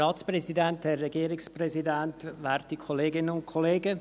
Ich gebe Grossrat Michel das Wort.